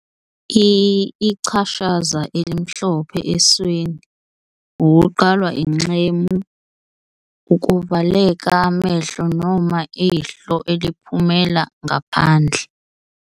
I - Ichashaza elimhlophe esweni, ukuqalwa ingxemu, ukuvaleka amehlo noma ihlo eliphumela ngaphandle.